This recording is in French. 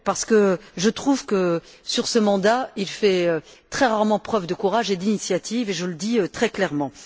En effet, je trouve qu'au cours de ce mandat, il fait très rarement preuve de courage et d'initiative et je le dis très clairement.